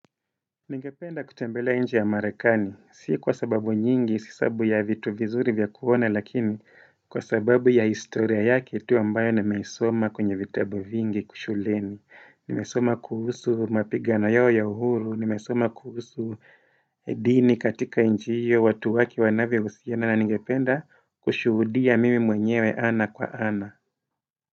Ningependa kutembelea nchi ya marekani, si kwa sababu nyingi, si sababu ya vitu vizuri vya kuona, lakini kwa sababu ya historia yake, tu ambayo nimesoma kwenye vitabu vingi shuleni, nimesoma kuhusu mapigano yao ya uhuru, nimesoma kuhusu Idini katika nchi hiyo, watu wake wanavyohusiana, na ningependa kushudia mimi mwenyewe ana kwa ana.